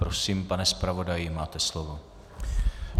Prosím, pane zpravodaji, máte slovo.